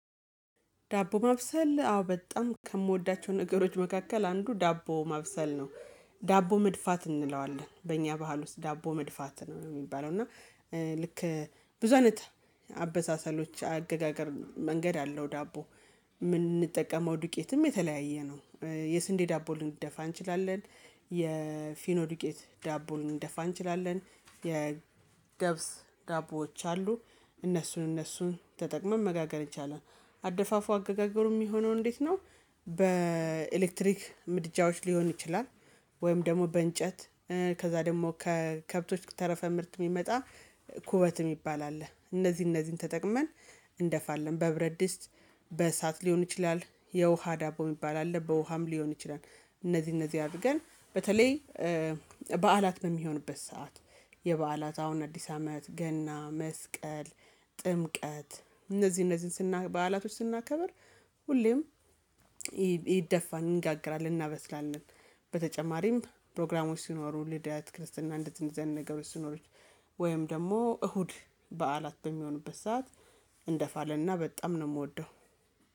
ዳቦ ማብሰል አዎ በጣም ከምወዳቸው ነገሮች መካከል አንዱ ዳቦ ማብሰል ነው። ዳቦ መድፋት እንለዋለን በእኛ ባህል ውስጥ ዳቦ መድፋት ነው ሚባለው። እና ልክ ብዙ አይነት አበሳሰሎች፣ አገጋገር መንገድ አለው ዳቦ ምንጠቀመው ዱቄትም የተለያየ ነው። የስንዴ ዳቦ ልንደፋ እንችላለን። የፊኖዱቄት ዳቦ ልንደፋ እንችላለን፣ የገብስ ዳቦዎች አሉ። እነሱን እነሱን ተጠቅመን መጋገር ይቻላል። አደፋፉ አገጋገሩ ሚሆነው እንዴት ነው? በኤሌክትሪክ ምድጃዎች ሊሆን ይችላል። ወይም ደግሞ በእንጨት ከዛ ደግሞ ከከብቶች ተረፈ ምርት ሚመጣ ኩበት ሚባል አለ እነዚህ እነዚህን ተጠቅመን እንደፋለን። በብረት ድስት፣ በእሳት ሊሆን ይችላል፣ የውሃ ዳቦ የሚባል አለ። በውሃም ሊሆን ይችላል። እነዚህ እነዚህ አድርገን በተለይ በዓላት በሚሆንበት ሰዓት የበዓላት አሁን አዲስ አመት፣ ገና፣ መስቀል፣ ጥምቀት እነዚህ እነዚህን ስናይ በዓላቶች ስናከብር ሁሌም ይደፋል እንጋግራለን፣ እናበስላለን በተጨማሪም ፕሮግራሞች ሲኖሩ ልደት፣ ክርስትና እንደዚህ አይነት አይነት ነገሮች ሲኖሩት ወይም ደግሞ እሁድ በዓላት በሚሆኑበት ሰዓት እንደፋለን እና በጣም ነው ምወደው።